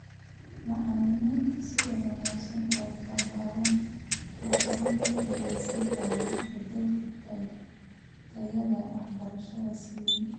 Macallimiinta sida wanaagsan u tababaran waxay gacan ka geysan karaan beddelka tayada waxbarashada si weyn.